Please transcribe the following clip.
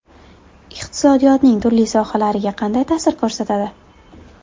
Iqtisodiyotning turli sohalariga qanday ta’sir ko‘rsatadi?